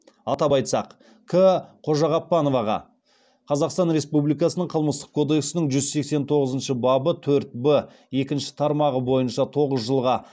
атап айтсақ қожағаппановаға тоғыз жылға